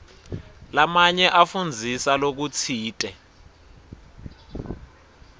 lamanye afundzisa lokutsite